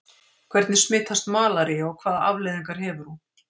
Hvernig smitast malaría og hvaða afleiðingar hefur hún?